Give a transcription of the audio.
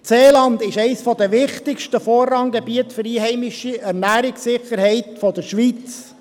Das Seeland ist eines der wichtigsten Vorranggebiete für die einheimische Ernährungssicherheit der Schweiz.